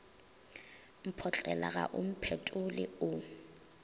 mphotlela ga o mphetole o